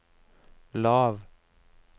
lav